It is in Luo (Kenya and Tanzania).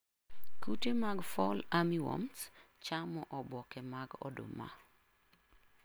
Kute mag Fall Armywarms chamo oboke mag oduma.